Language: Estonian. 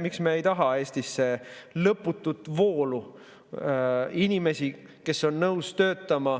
Miks me ei taha Eestisse lõputut inimestevoolu, kes on nõus töötama,